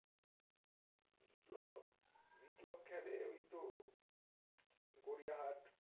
বিপ্লব বিপ্লব খেলে ওই তো গড়িয়া হাট